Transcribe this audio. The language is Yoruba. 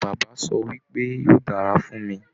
Bàbá sọ wípé "yóò dára fún mí".